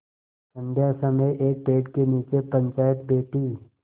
संध्या समय एक पेड़ के नीचे पंचायत बैठी